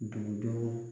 Dugudenw